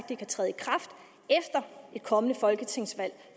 det kan træde i kraft efter et kommende folketingsvalg